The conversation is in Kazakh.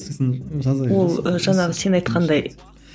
сосын жаза бересің ол жаңағы сен айтқандай